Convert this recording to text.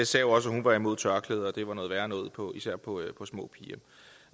sagde jo også at hun var imod tørklæder og at det var noget værre noget især på små piger